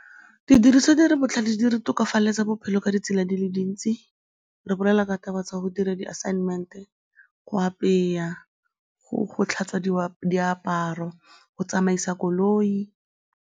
Didiriswa botlhale di re tokafaletsa bophelo ka ditsela di le dintsi, re bolela ka taba tsa go dira di-assignment-e, go apeya, go tlhatswediwa diaparo, go tsamaisa koloi.